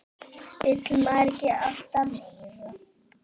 Vill maður ekki alltaf meira?